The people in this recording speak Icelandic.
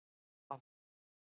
V